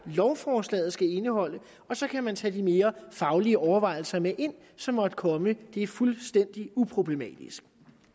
lovforslaget skal indeholde og så kan man tage de mere faglige overvejelser med ind som måtte komme det er fuldstændig uproblematisk